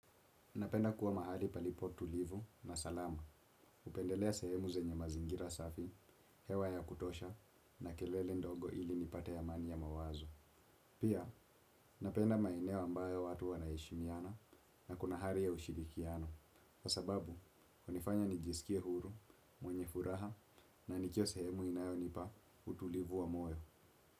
Napenda kuwa mahali palipo tulivu na salama. Hupendelea sehemu zenye mazingira safi, hewa ya kutosha na kelele ndogo ili nipate amani ya mawazo. Pia, napenda maeneo ambayo watu wanaheshimiana na kuna hari ya ushirikiano. Kwa sababu, hunifanya nijisikie huru, mwenye furaha na nikiwa sehemu inayonipa utulivu wa moyo.